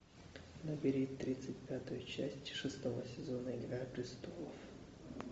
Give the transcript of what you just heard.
набери тридцать пятую часть шестого сезона игра престолов